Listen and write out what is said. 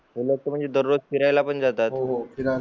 ते लोक तर म्हणजे दररोज फिरायला पण जातात हो हो